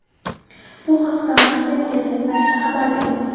Bu haqda Marca internet-nashri xabar bermoqda.